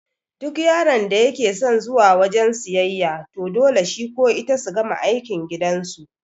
Duk yaron da yake son zuwa wajan siyayya to dole shi ko ita su gama aikin gidan su